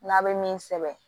N'a bɛ min sɛbɛn